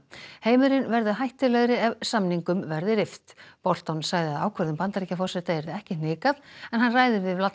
heimurinn verði hættulegri ef samningum verði rift Bolton sagði að ákvörðun Bandaríkjaforseta yrði ekki hnikað en hann ræðir við